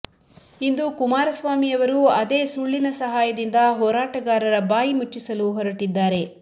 ಇಂದು ಕುಮಾರಸ್ವಾಮಿಯವರೂ ಅದೇ ಸುಳ್ಳಿನ ಸಹಾಯದಿಂದ ಹೋರಾಟಗಾರರ ಬಾಯಿ ಮುಚ್ಚಿಸಲು ಹೊರಟಿದ್ದಾರೆ